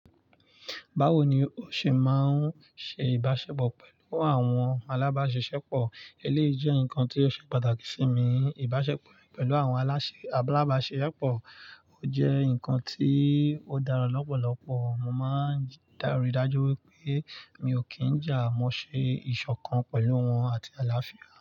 Báwo ni o ṣe máa ń ṣe ìbáṣepọ̀ pẹ̀lú àwọn alábásiṣepọ̀? Eléyìí jẹ́ ǹkan tí ó ṣe pàtàkì sí mi. Ìbáṣepọ̀ pẹ̀lú àwọn alábásiṣepọ̀ jẹ́ ǹkan tí ó dára lọ́pọ̀lọpọ̀. Mo máa ń dá ri dajú wípé mi ò kí ń jà mọ́ ṣe ìṣọ̀kan pẹ̀lú wọn àti àlàáfíà.